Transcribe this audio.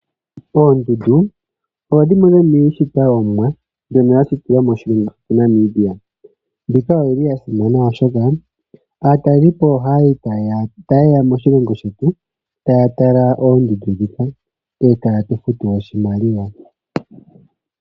Oondundu odho dhimwe dhomiishitwa yOmuwa mbyono ya shitilwa moshilongo shetu Namibia. Mbika oyi li ya simana, oshoka aatalelipo ohaye ya moshilongo shetu taya tala oondundu ndhika e taye tu futu oshimaliwa.